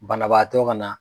Banabaatɔ ka na.